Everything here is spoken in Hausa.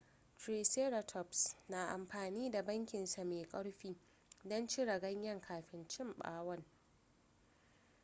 triceratops na amfani da bakin sa mai karfi don cire ganyen kafin cin bawon